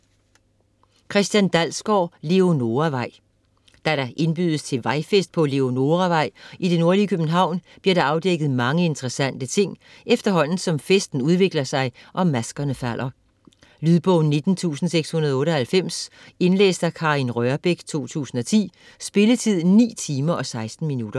Dalsgaard, Christian: Leonoravej Da der indbydes til vejfest på Leonoravej i det nordlige København, bliver der afdækket mange interessante ting, efterhånden som festen udvikler sig, og maskerne falder. Lydbog 19698 Indlæst af Karin Rørbech, 2010. Spilletid: 9 timer, 16 minutter.